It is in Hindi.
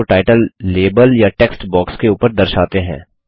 माउस को टाइटल लेबल या टेक्स्ट बॉक्स के ऊपर दर्शाते हैं